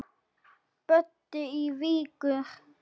Böddi í Vigur.